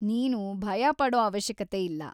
ನೀನು ಭಯ ಪಡೋ ಅವಶ್ಯಕತೆ ಇಲ್ಲ.